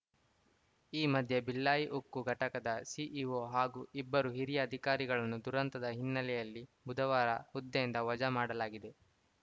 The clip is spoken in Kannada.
ಈ ಮಧ್ಯೆ ಭಿಲ್ಲಾಯಿ ಉಕ್ಕು ಘಟಕದ ಸಿಇಒ ಹಾಗೂ ಇಬ್ಬರು ಹಿರಿಯ ಅಧಿಕಾರಿಗಳನ್ನು ದುರಂತದ ಹಿನ್ನೆಲೆಯಲ್ಲಿ ಬುಧವಾರ ಹುದ್ದೆಯಿಂದ ವಜಾ ಮಾಡಲಾಗಿದೆ